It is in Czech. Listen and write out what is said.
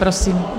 Prosím.